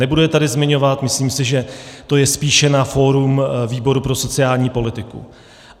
Nebudu je tady zmiňovat, myslím si, že to je spíše na fórum výboru pro sociální politiku.